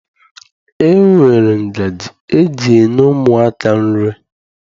E nwere ngaji eji enye ụmụaka nri.